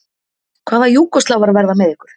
Hvaða Júgóslavar verða með ykkur?